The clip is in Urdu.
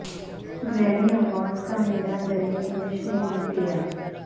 گریمی ایوارڈز کا میلہ بلی ایلش نے لوٹ لیا